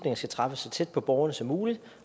skal træffes så tæt på borgerne som muligt